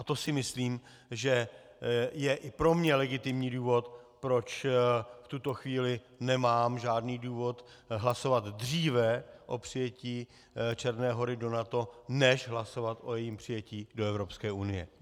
A to si myslím, že je i pro mě legitimní důvod, proč v tuto chvíli nemám žádný důvod hlasovat dříve o přijetí Černé Hory do NATO než hlasovat o jejím přijetí do Evropské unie.